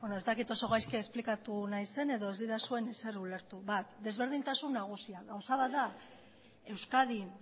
ez dakit oso gaizki esplikatu naizen edo ez didazuen ezer ulertu bat desberdintasun nagusia gauza bat da euskadin